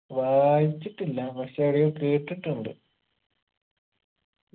വായിച്ചിട്ടില്ല പക്ഷെ എടെയോ കേട്ടിട്ടുണ്ട്